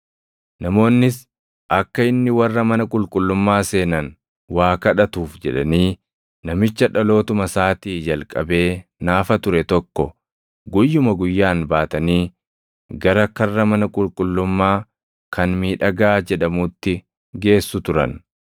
Namoonnis akka inni warra mana qulqullummaa seenan waa kadhatuuf jedhanii namicha dhalootuma isaatii jalqabee naafa ture tokko guyyuma guyyaan baatanii gara karra mana qulqullummaa kan “Miidhagaa” jedhamuutti geessu turan.